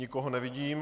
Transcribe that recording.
Nikoho nevidím.